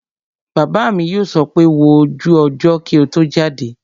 Bàbá mi yóò sọ pé 'wo ojú ọjọ́ kí o tó jáde'